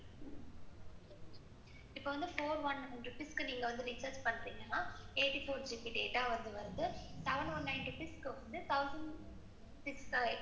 இப்ப வந்து four one six recharge பண்றீங்கன்னா இப்ப வந்து பாத்தீங்கன்னா eighty four GB data வருது. seven one ninety-six.